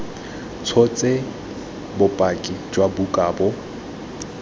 tshotse bopaki jwa buka bo